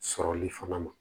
Sɔrɔli fana ma